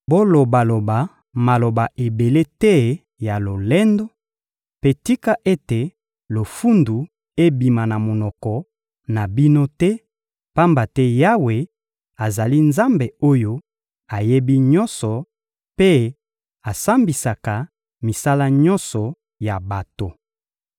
Bolobaloba maloba ebele te ya lolendo, mpe tika ete lofundu ebima na monoko na bino te, pamba te Yawe azali Nzambe oyo ayebi nyonso mpe asambisaka misala nyonso ya bato.